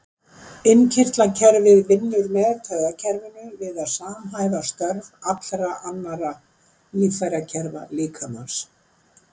Innkirtlakerfið vinnur með taugakerfinu við að samhæfa störf allra annarra líffærakerfa líkamans.